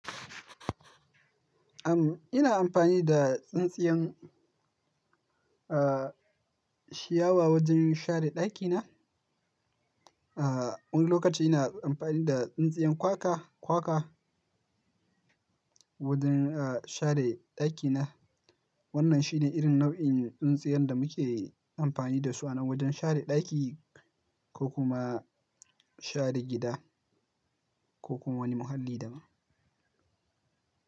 Am, ina amfani da tsintsiyan, uh, shiyawa wajen share ɗakina. Uh, wani lokaci ina amfani da tsintsiyan kwaka, kwaka wajen, uh, share ɗakina. Wannan shine irin nau'in tsintsiyan da muke amfani da su ana wajen share ɗaki ko kuma share gida ko kuma wani muhalli daban.